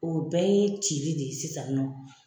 O bɛɛ ye cili de ye sisan nin nɔ.